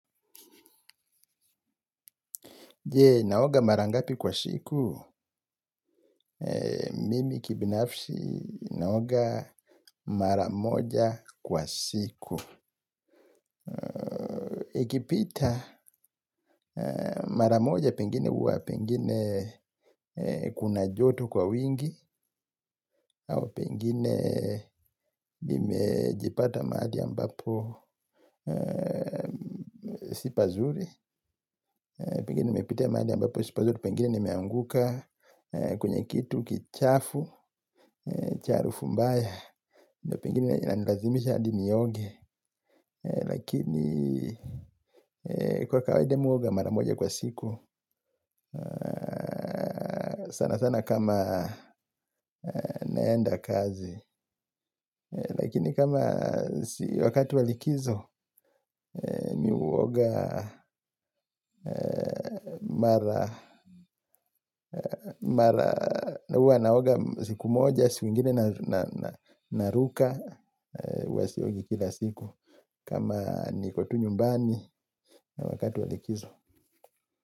Je naoga mara ngapi kwa siku? Mimi kibinafsi naoga mara moja kwa siku ukipita mara moja, huwa pengine kuna joto kwa wingi. Au pengine imejipata mahali ambapo si pazuri. Pengine nimepita mahali ambapo si pazuri, pengine nimeanguka kwenye kitu kichafu, cha harufu mbaya. Ndiyo pengine inanilazimisha hadi nioge. Lakini kwa kawaida mimi huoga mara moja kwa siku sana sana kama naenda kazi. Lakini kama wakati wa likizo mimi huoga. Mara huwa naoga siku moja, siku nyingine naruka huwa siogi kila siku. Kama niko tu nyumbani na wakati wa likizo.